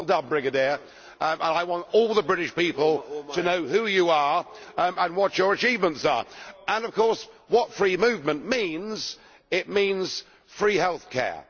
So well done, Brigadier, I want all the British people to know who you are and what your achievements are and of course what free movement means it means free health care